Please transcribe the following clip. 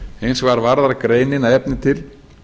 hins vegar varðar greinin að efni til